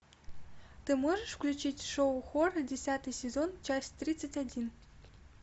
ты можешь включить шоу хор десятый сезон часть тридцать один